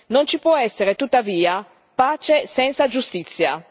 Non ci può essere tuttavia pace senza giustizia.